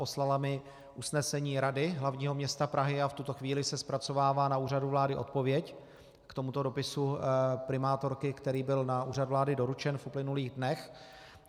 Poslala mi usnesení Rady hlavního města Prahy a v tuto chvíli se zpracovává na Úřadu vlády odpověď k tomuto dopisu primátorky, který byl na Úřad vlády doručen v uplynulých dnech.